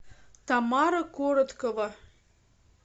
тамара короткова